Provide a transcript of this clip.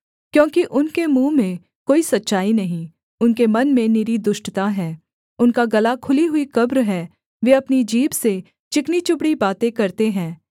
क्योंकि उनके मुँह में कोई सच्चाई नहीं उनके मन में निरी दुष्टता है उनका गला खुली हुई कब्र है वे अपनी जीभ से चिकनी चुपड़ी बातें करते हैं